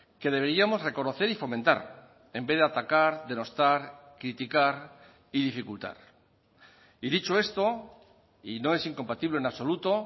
que deberíamos reconocer y fomentar en vez de atacar denostar criticar y dificultar y dicho esto y no es incompatible en absoluto